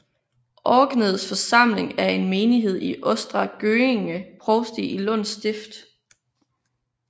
Örkeneds församling er en menighed i Östra Göinge provsti i Lunds stift